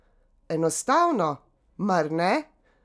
Enostavno, mar ne?